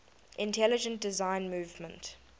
intelligent design movement